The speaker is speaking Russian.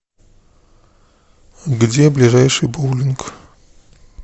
где ближайший боулинг